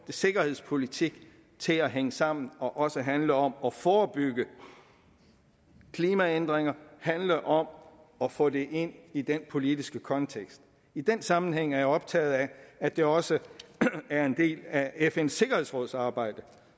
sikkerhedspolitikken til at hænge sammen og også handle om at forebygge klimaændringer handle om at få det ind i den politiske kontekst i den sammenhæng er jeg optaget af at det også er en del af fns sikkerhedsråds arbejde